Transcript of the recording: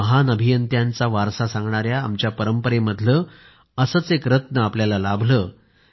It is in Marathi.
महान अभियंत्यांचा वारसा सांगणाऱ्या आमच्या परंपरेमधले असेच एक रत्न आपल्याला मिळाले आहे